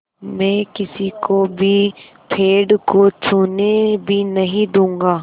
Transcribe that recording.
मैं किसी को भी पेड़ को छूने भी नहीं दूँगा